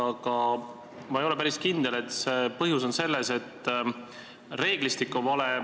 Aga ma ei ole päris kindel, et põhjus on selles, et reeglistik on vale.